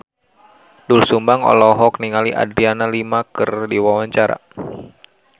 Doel Sumbang olohok ningali Adriana Lima keur diwawancara